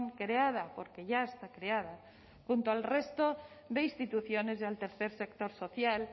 creada porque ya está creada junto al resto de instituciones y al tercer sector social